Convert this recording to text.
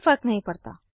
कोई फर्क नहीं पड़ता